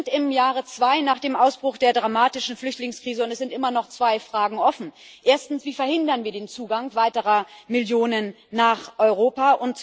Wir sind im Jahre zwei nach dem Ausbruch der dramatischen Flüchtlingskrise, und es sind immer noch zwei Fragen offen. Erstens Wie verhindern wir den Zugang weiterer Millionen nach Europa?